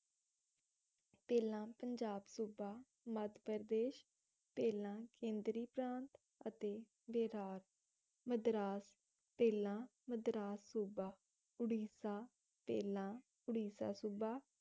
ਪਹਿਲਾਂ ਪੰਜਾਬ ਸੂਬਾ, ਮੱਧ ਪ੍ਰਦੇਸ਼, ਪਹਿਲਾਂ ਕੇਂਦਰੀ ਪ੍ਰਾਂਤ ਅਤੇ ਬੇਰਾਤ ਮਦਰਾਸ, ਪਹਿਲਾਂ ਮਦਰਾਸ ਸੂਬਾ, ਉੜੀਸਾ, ਪਹਿਲਾਂ ਉੜੀਸਾ ਸੂਬਾ